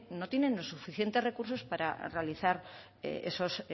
no tienen los suficientes recursos para realizar esos